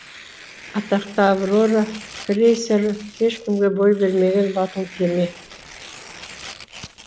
атақты аврора крейсеры ешкімге бой бермеген батыл кеме